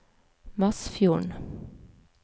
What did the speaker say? Masfjorden